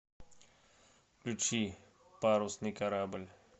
включи парусный корабль